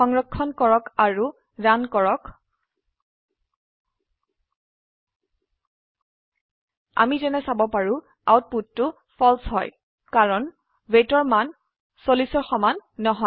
সংৰক্ষণ কৰক আৰু ৰান কৰ আমি যেনে চাব পাৰো আউটপুটটো ফালছে হয় কাৰণ weightৰ মান 40ৰ সমান নহয়